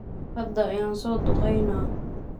Hada ayan soduqeyna.